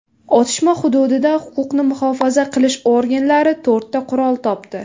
Otishma hududida huquqni muhofaza qilish organlari to‘rtta qurol topdi.